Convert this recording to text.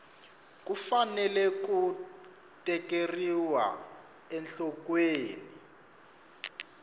ku fanele ku tekeriwa enhlokweni